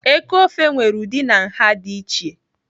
Eku ofe nwere ụdị na nha dị iche.